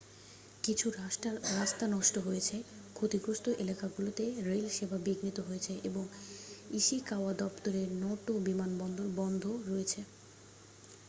কিছু রাস্তা নষ্ট হয়েছে ক্ষতিগ্রস্থ এলাকাগুলোকে রেল সেবা বিঘ্নিত হয়েছে এবং ইশিকাওয়া দপ্তরের নটো বিমানবন্দর বন্ধ রয়েছে